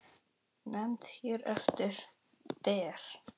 Nefnd hér eftir: Der